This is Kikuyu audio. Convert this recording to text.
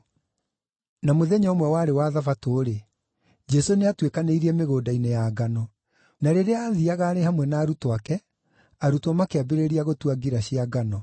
Na mũthenya ũmwe warĩ wa Thabatũ-rĩ, Jesũ nĩatuĩkanĩirie mĩgũnda-inĩ ya ngano. Na rĩrĩa aathiiaga arĩ hamwe na arutwo ake, arutwo makĩambĩrĩria gũtua ngira cia ngano.